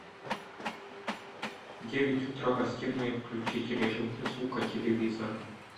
в девять утра гостиная включить режим без звука телевизора